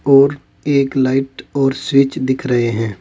और एक लाइट और स्विच दिख रहे हैं।